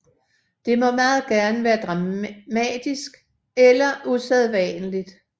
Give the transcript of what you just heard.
Det må meget gerne være dramatisk eller usædvanligt